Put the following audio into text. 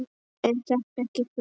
Er þetta ekki þungt?